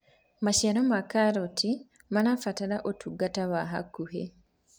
maciaro ma kaoti marabatara utungata wa hakuhi